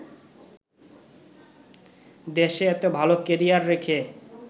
দেশে এতো ভালো ক্যারিয়ার রেখে